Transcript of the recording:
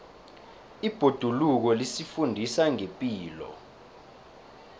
ibhoduluko lisifundisa ngepilo